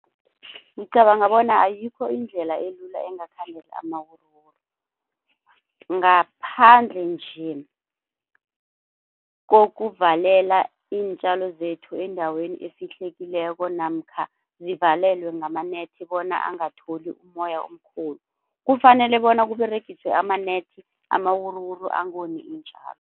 Ngicabanga bona ayikho indlela elula engakhandela amawuruwuru, ngaphandle nje kokuvalela iintjalo zethu endaweni efihlekileko namkha zivalelwe ngama-net bona angatholi umoya omkhulu. Kufanele bona kUberegiswe ama-net, amawuruwuru angoni iintjalo.